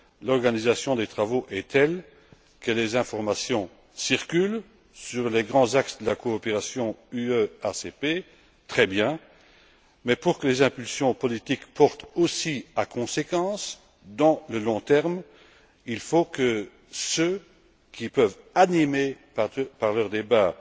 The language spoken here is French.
L'organisation des travaux est telle que les informations circulent sur les grands axes de la coopération UE ACP. C'est très bien, mais pour que les impulsions politiques portent aussi à conséquence, sur le long terme, il faut que ceux qui peuvent animer ces travaux par leurs débats